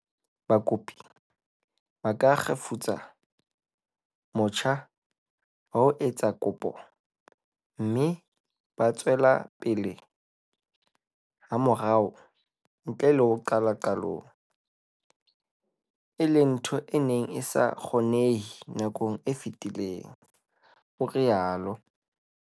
Hape, bakopi ba ka kgefutsa motjha wa ho etsa kopo mme ba tswela pele hamorao ntle le ho qala qalong, e leng ntho e neng e sa kgonehe nakong e fetileng, o rialo."